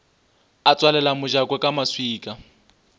a tswalela mojako ka maswika